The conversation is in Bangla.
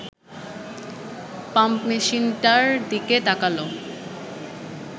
পাম্পমেশিনটার দিকে তাকাল